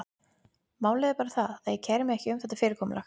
Málið er bara það, að ég kæri mig ekki um þetta fyrirkomulag.